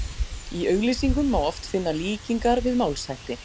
Í auglýsingum má oft finna líkingar við málshætti.